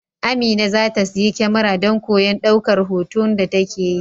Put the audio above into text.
Amina za ta siyi kyamara don koyon daukar hoton da take yi.